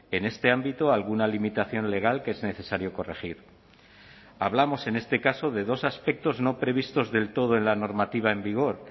en este ámbito alguna limitación legal que es necesario corregir hablamos en este caso de dos aspectos no previstos del todo en la normativa en vigor